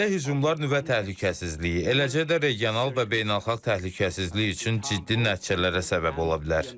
Belə hücumlar nüvə təhlükəsizliyi, eləcə də regional və beynəlxalq təhlükəsizlik üçün ciddi nəticələrə səbəb ola bilər.